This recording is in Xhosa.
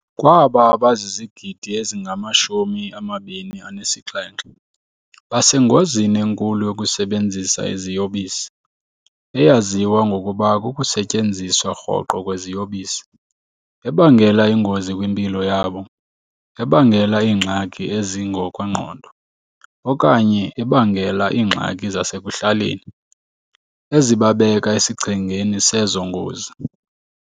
Kwaba, abazizigidi ezingama-27 basengozini enkulu yokusebenzisa iziyobisi - eyaziwa ngokuba kukusetyenziswa rhoqo kweziyobisi - ebangela ingozi kwimpilo yabo, ebangela iingxaki ezingokwengqondo, okanye ebangela iingxaki zasekuhlaleni ezibabeka esichengeni sezo ngozi.